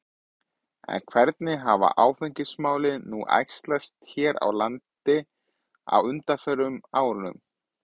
En hvernig hafa áfengismálin nú æxlast hér á landi á undanförnum árum?